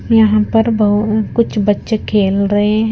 यहां पर बहो कुछ बच्चे खेल रहे है।